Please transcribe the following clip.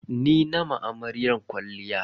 Ni na ma amaryar kwalliya.